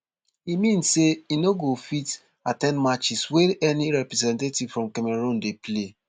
e mean say e no go fit at ten d matches wey any representative from cameroon dey play